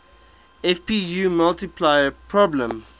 fpu multiplier problem